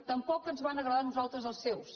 tampoc ens van agradar a nosaltres els seus